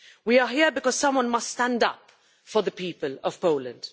We are here because someone must stand up for the people of Poland.